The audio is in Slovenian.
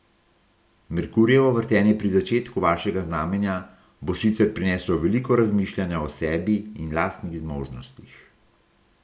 Merkurjevo vrtenje pri začetku vašega znamenja bo sicer prineslo veliko razmišljanja o sebi in lastnih zmožnostih.